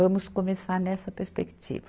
Vamos começar nessa perspectiva.